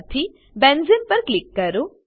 માંથી બેન્ઝેને પર ક્લિક કરો